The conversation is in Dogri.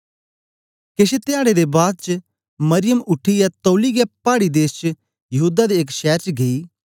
केश धयाडें दे बाद च मरियम उठीयै तौली गै पाड़ी देश च यहूदा दे एक शैर च गेई